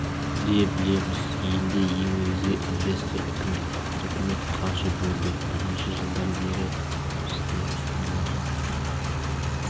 де білеміз елде ең негізгі инвестор үкімет үкімет қаржы бөлді бірнеше жылдан бері бізде жоспарлар